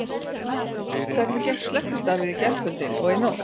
Hvernig gekk slökkvistarfið í gærkvöldi og í nótt?